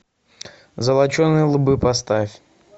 золоченые лбы поставь